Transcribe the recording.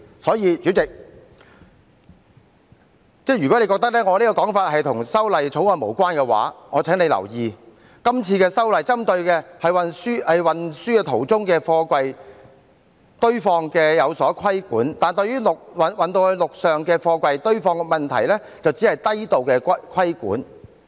所以，代理主席，如果妳認為我這個說法與《條例草案》無關，我請你留意，今次修例針對的是在運輸途中的貨櫃的堆放作出規管，但對於陸上貨櫃堆放的問題卻只是低度規管。